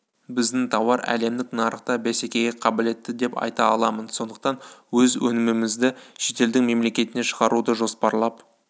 біздің тауар әлемдік нарықта бәсекеге қабілетті деп айта аламын сондықтан өз өнімімізді шетелдің мемлекетіне шығаруды жоспарлап